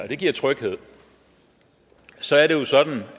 det giver tryghed så er det jo sådan